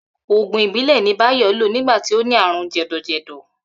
Ògùn ìbílè̩ ni Báyò̩ lò nígbà tí ó ní àrùn jè̩dò̩jè̩dò̩